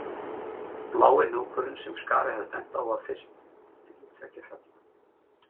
Blái hnúkurinn sem Skari hafði bent á var fyrst milli tveggja fella